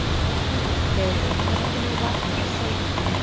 Geirlaug, hvenær kemur vagn númer sautján?